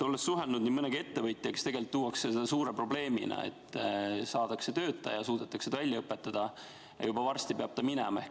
Olles suhelnud nii mõnegi ettevõtjaga, tean, et seda tuuakse välja suure probleemina, et saadakse töötaja, suudetakse ta välja õpetada, aga juba varsti peab ta minema.